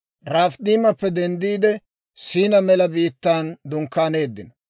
Rafiidimappe denddiide, Siinaa mela biittaan dunkkaaneeddino.